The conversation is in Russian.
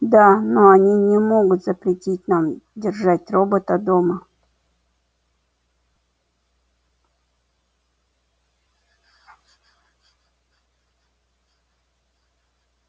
да но они не могут запретить нам держать робота дома